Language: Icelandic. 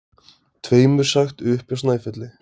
Tveimur sagt upp hjá Snæfelli